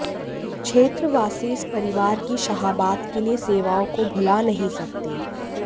क्षेत्रवासी इस परिवार की शाहाबाद के लिए सेवाओं को भुला नहीं सकते